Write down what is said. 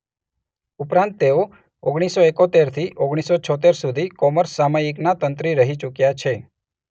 ઉપરાંત તેઓ ઓગણીસ સો એકોતેર થી ઓગણીસ સો છોતેર સુધી કૉમર્સ સામયિકના તંત્રી રહી ચુક્યા છે.